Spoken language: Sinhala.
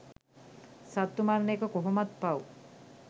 සත්තු මරන එක කොහොමත් පව්.